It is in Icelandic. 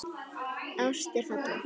Ást er falleg.